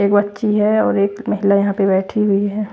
एक बच्ची है और एक महिला यहां पे बैठी हुई है।